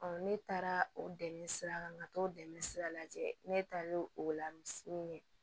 ne taara o dɛmɛ sira kan ka t'o dɛmɛ sira lajɛ ne taalen o la misi ɲɛ